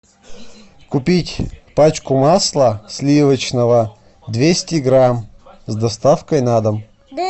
купить пачку масла сливочного двести грамм с доставкой на дом